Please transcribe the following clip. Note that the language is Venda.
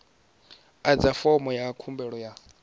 adza fomo ya khumbelo ya